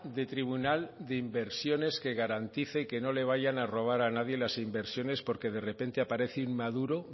de tribunal de inversiones que garantice que no le vayan a robar a nadie las inversiones porque de repente aparece inmaduro